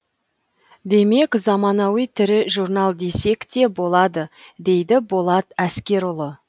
демек заманауи тірі журнал десек те болады дейді болат әскерұлы